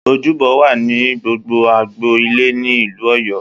Ojúbọ wà ní gbogbo agbo ilé ni ilú Ọ̀yọ́.